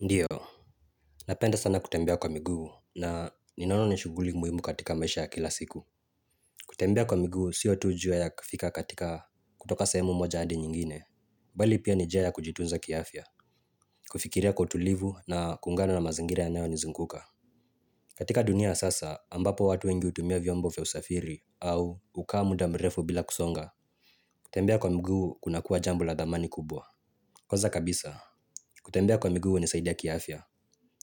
Ndiyo. Napenda sana kutembea kwa miguu. Na ninaona ni shuguli muhimu katika maisha ya kila siku. Kutembea kwa miguu siyo tu ju ya kifika katika kutoka sayemu moja adi nyingine bali pia ni njia ya kujitunza kiafya. Kufikiria kwa utulivu na kuungano na mazingira yanayonizunguka. Katika dunia ya sasa ambapo watu wengi utumia vyombo usafiri au hukaa muda mrefu bila kusonga. Kutembea kwa miguu kunakua jambo la dhamani kubwa. Kwanza kabisa kutembea kwa miguu hunisaidia kiafya.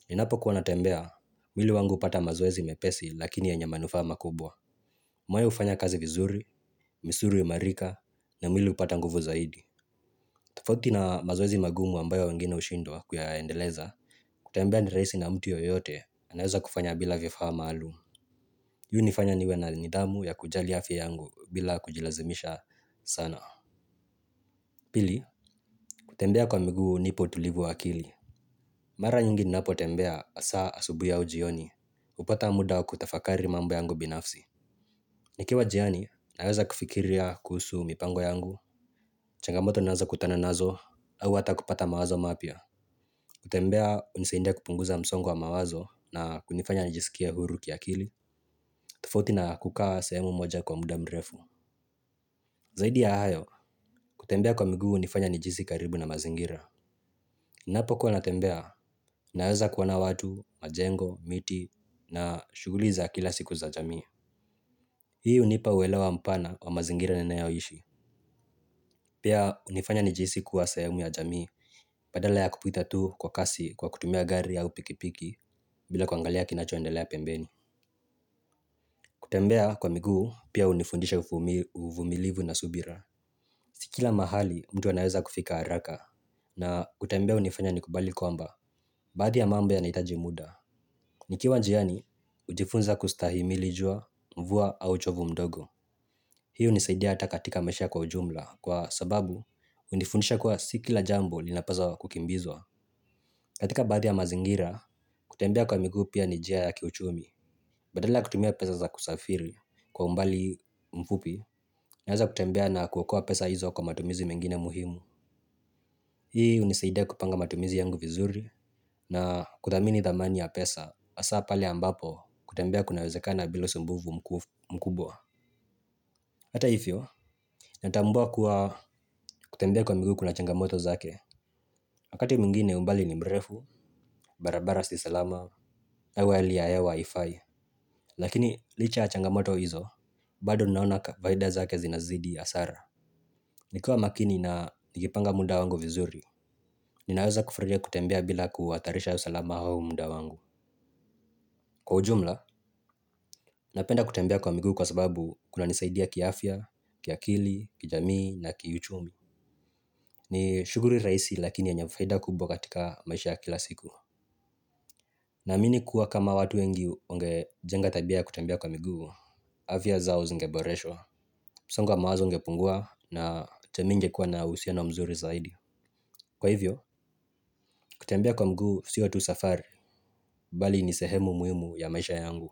Ninapokuwa natembea mwili wangu upata mazoezi mepesi lakini yenye manufaa makubwa. Moyo hufanya kazi vizuri, misuli huimarika, na mwili upata nguvu zaidi. Tafoti na mazoezi magumu ambayo wengine ushindwa kuyayaendeleza, kutembea ni rahisi na mtu yoyote anaweza kufanya bila vifaa maalum. Hii hunifanya niwe na nidhamu ya kujali afya yangu bila kujilazimisha sana. Pili, kutembea kwa miguu hunipa utulivu wa akili. Mara nyingi nnnapotembea asa asubuhi au jioni. Hupata muda kutafakari mambo yangu binafsi. Nikiwa jiani, naweza kufikiria kuhusu mipango yangu, changamoto ninazo kutana nazo, au hata kupata mawazo mapya. Kutembea, unisaindia kupunguza msongo wa mawazo na kunifanya nijisikie huru kiakili. Tofauti na kukaa sehemu moja kwa muda mrefu. Zaidi ya hayo, kutembea kwa miguu unifanya nijihisi karibu na mazingira. Ninapokuwa natembea, naweza kuona watu, majengo, miti na shughuli za kila siku za jamii. Hii hunipa uelewa mpana wa mazingira ninayoishi. Pia unifanya nijihisi kuwa sehemu ya jamii, badala ya kupita tu kwa kasi kwa kutumia gari au pikipiki, bila kuangalia kinachoendelea pembeni. Kutembea kwa miguu, pia unifundisha ufumi uvumilivu na subira. Si kila mahali, mtu anaweza kufika haraka, na kutembea unifanya nikubali kwamba, baadhi ya mambo yanaitaji muda. Nikiwa njiani, ujifunza kustahimili jua, mvua au uchovu mdogo. Hii unisaidia hata katika maisha kwa ujumla kwa sababu unifundisha kuwa si kila jambo linapaswa kukimbizwa. Katika baadhi ya mazingira kutembea kwa miguu pia ni njia ya kiuchumi. Badala kutumia pesa za kusafiri kwa umbali mfupi naweza kutembea na kuokoa pesa hizo kwa matumizi mengine muhimu. Hii unisaidia kupanga matumizi yangu vizuri na kuthamini dhamani ya pesa. Asa pale ambapo kutembea kunawezekana bila usumbuvu mkubwa. Hata hivyo, natambua kuwa kutembea kwa miguu kuna changamoto zake. Wakati mwingine umbali ni mrefu, barabara si salama, au hali ya hewa haifai. Lakini licha ya changamoto hizo, bado ninaona faida zake zinazidi hasara. Nikiwa makini na nikipanga muda wangu vizuri ninaweza kufurahia kutembea bila kuhatarisha usalama au muda wangu. Kwa ujumla, napenda kutembea kwa miguu kwa sababu kunanisaidia kiafya, kiakili, kijamii na kiuchumi. Ni shuguli raisi lakini yenye faida kubwa katika maisha ya kila siku. Naamini kuwa kama watu wengi wangejenga tabia ya kutembia kwa miguu. Afya zao zingeboreshwa msongo wa mawazo ungepungua na teminge kuwa na usiona mzuri zaidi. Kwa hivyo, kutembia kwa mguu sio tu safari. Bali ni sehemu muhimu ya maisha yangu.